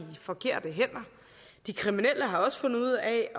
forkerte hænder de kriminelle har også fundet ud af